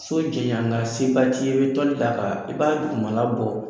So ti ɲan nka se ba t'i ye, i bɛ tɔli d'a kan, i b'a dugumana labɔ.